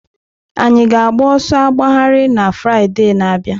Anyị ga-agba ọsọ agbagharị na Fraịde na-abịa?